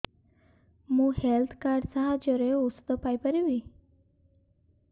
ମୁଁ health card ସାହାଯ୍ୟରେ ଔଷଧ ପାଇ ପାରିବି